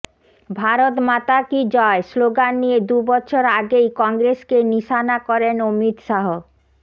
ভারত মাতা কি জয় স্লোগান নিয়ে দুবছর আগেই কংগ্রেসকে নিশানা করেন অমিত শাহ